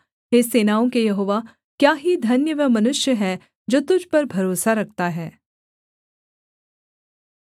हे सेनाओं के यहोवा क्या ही धन्य वह मनुष्य है जो तुझ पर भरोसा रखता है